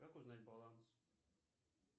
как узнать баланс